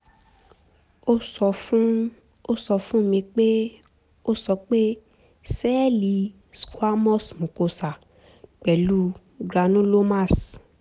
ó sọ fún ó sọ fún mi pé ó sọ pé sẹ́ẹ̀lì squamous mucosa pẹ̀lú granulomas